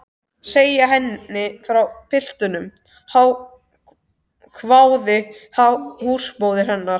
Segja henni frá piltinum? hváði húsmóðir hennar.